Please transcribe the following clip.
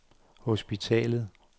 hospitalet